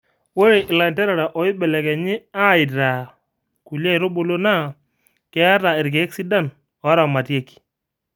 Ore ilanterera oibelekenyi aaitaa kulie aitubulu naa keeta irkeek sidan oo ramatieki